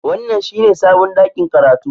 Wannan shine sabon ɗakin karatu